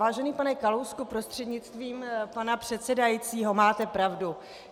Vážený pane Kalousku prostřednictvím pana předsedajícího, máte pravdu.